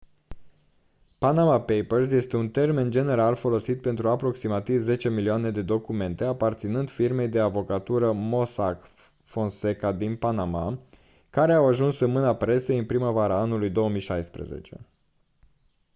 panama papers este un termen general folosit pentru aproximativ zece milioane de documente aparținând firmei de avocatură mossack fonseca din panama care au ajuns în mâna presei în primăvara anului 2016